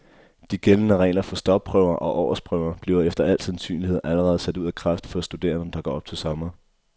De gældende regler for stopprøver og årsprøver bliver efter al sandsynlighed allerede sat ud af kraft for studerende, der går op til sommer.